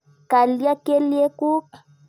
Kalya kelyek kuk?